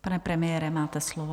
Pane premiére, máte slovo.